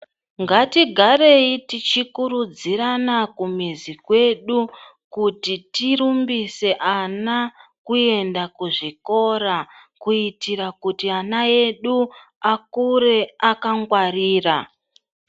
Ngatigareyi tichikurudzirana kumizi kwedu kuti tirumbise ana kuenda kuzvikora, kuitira kuti ana edu akure akangwarira.